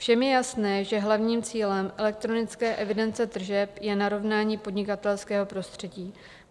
Všem je jasné, že hlavním cílem elektronické evidence tržeb je narovnání podnikatelského prostředí.